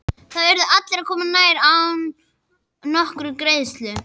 Þar urðu allir að koma nærri og án nokkurrar greiðslu.